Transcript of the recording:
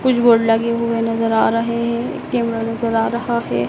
कुछ बोर्ड लगे हुए नजर आ रहे हैं एक कैमरा नजर आ रहा है।